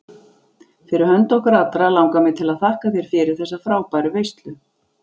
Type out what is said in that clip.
Fyrir hönd okkar allra langar mig til að þakka þér fyrir þessa frábæru veislu.